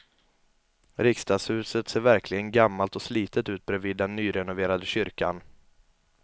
Riksdagshuset ser verkligen gammalt och slitet ut bredvid den nyrenoverade kyrkan.